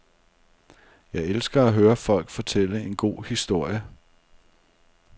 Jeg elsker at høre folk fortælle en god historie.